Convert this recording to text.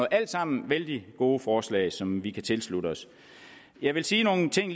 alt sammen vældig gode forslag som vi kan tilslutte os jeg vil sige nogle ting